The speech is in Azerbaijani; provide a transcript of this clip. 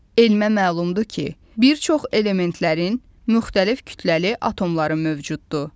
Elmə məlumdur ki, bir çox elementlərin müxtəlif kütləli atomları mövcuddur.